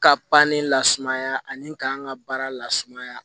Ka banni lasumaya ani k'an ka baara lasumaya